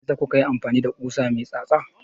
Meyasa kuka yi amfani da ƙusa mai tsatsa?